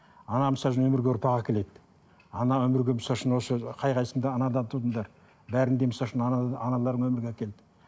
ана өмірге ұрпақ әкеледі ана өмірге осы қай қайсысың да анадан тудыңдар бәрін де аналарың өмірге әкелді